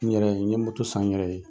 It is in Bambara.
N yɛrɛ ye, n ɲe moto san n yɛrɛ ye.